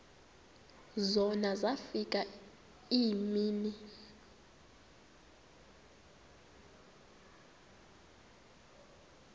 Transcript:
zona zafika iimini